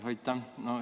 Aitäh!